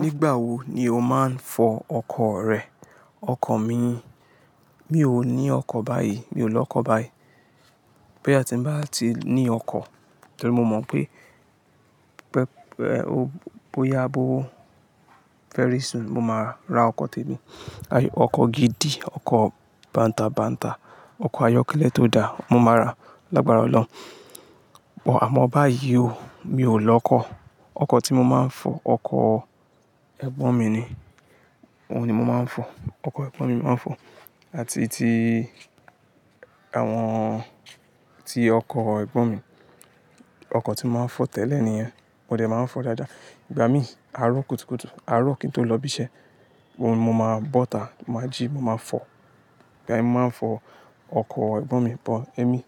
Nígbà wo ni o máa ń fọ ọkọ̀ rẹ? Ọkọ̀ mi, mi ò ní ọkọ̀ báyìí, mi ò lọ ọkọ̀ báyìí. Bo yà ti ń bá ti ní ọkọ̀, torí mo mọ̀ pé pẹ, ẹ, o, bóyá bó very soon mo máa ra ọkọ̀ tèmi. Ayé, ọkọ̀ gidi, ọkọ̀ bàǹtà bàǹtà, ọkọ̀ ayọ́kẹ́lẹ́ tó dáa, mo máa ra lágbára Ọlọ́run. Ò, àmọ́ báyìí o, mi ò lọ ọkọ̀. Ọkọ̀ tí mo máa ń fọ, ọkọ̀ ẹ̀gbọ́n mi ni. Óun ni mo máa ń fọ. Ọkọ̀ ẹ̀gbọ́n ni mo máa ń fọ. Àti ti àwọn, ti ọkọ̀ ẹ̀gbọ́n mi. Ọkọ̀ tí mo máa ń fọ tẹ́lẹ̀ nìyẹn. Mo dẹ̀ máa ń fọ dáadáa. Ìgbà mí, àárọ̀ kùtùkùtù, àárọ̀ kí n tó lọ ibi iṣẹ́, mo, mo máa bọ́ta, mo máa jí, mo máa fọ. Ìgbà mí mo máa ń fọ ọkọ̀ ẹ̀gbọ́n mi, but émi,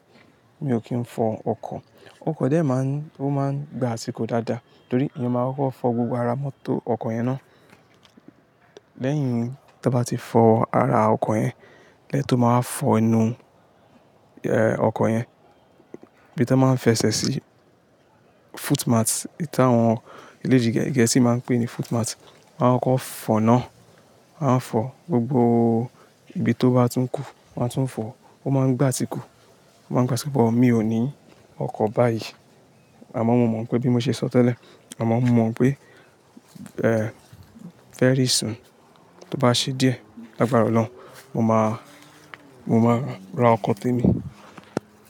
mi ò kí ń fọ ọkọ̀. Ọkọ̀ dẹ̀ máa ń, ó máa ń gba àsìkò dáadáa, torí eeyan máa ń kọ́ fọ gbogbo ara mọ́tò ọkọ̀ yẹn ná. Lẹ́yìn ta bá ti fọ ara ọkọ̀ yẹn, lẹ́to máa wa fọ inú, ẹ, ọkọ̀ yẹn. Ibi tí wọ́n máa ń fẹsẹ̀ sí, footmat, ìta àwọn ilé ede Gẹ̀ẹ́sì máa ń pè é ní footmat. Wọ́n á kokọ́ fọ́nà. A ń fọ gbogbo ibi tó bá tún kù. Wọ́n á tún fọ. Ó máa ń gba àsìkò. Ó máa ń gba àsìkò, but mi ò ní ọkọ̀ báyìí. Àmọ́ mo mọ̀ pé bí mo ṣe sọ tẹ́lẹ̀, àmọ́ mo mọ̀ pé, ẹ, very soon, tó bá ṣe díẹ̀, lágbára Ọlọ́run, mo máa, mo máa ra ọkọ̀ tèmi.